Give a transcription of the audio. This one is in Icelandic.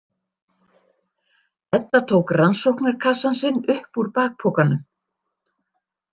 Edda tók rannsóknarkassann sinn upp úr bakpokanum.